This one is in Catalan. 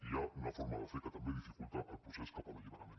hi ha una forma de fer que també dificulta el procés cap a l’alliberament